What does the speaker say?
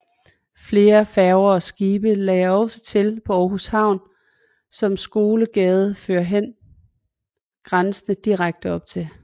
Flere færger og skibe lagde også til på Aarhus Havn som Skolegade førhen grænsende direkte op til